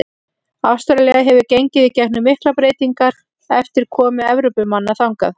Ástralía hefur gengið í gegnum miklar breytingar eftir komu Evrópumanna þangað.